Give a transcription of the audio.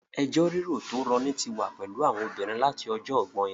Ẹjọ́ rírò tó rọni tí wà pẹ̀lú àwọn obìnrin láti ọjọ́ ọgbọ́in